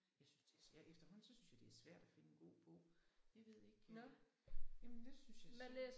Jeg synes det er ja efterhånden så synes jeg det er svært at finde en god bog jeg ved ikke jamen det synes jeg så